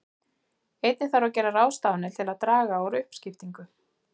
Einnig þarf að gera ráðstafanir til að draga úr uppskiptingu.